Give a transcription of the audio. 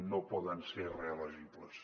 no poden ser reelegibles